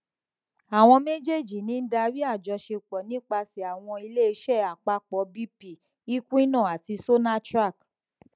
awọn mejeeji ni n dari ajosepo nipasẹ awọn ileiṣẹ apapọ bp equinor ati sonatrach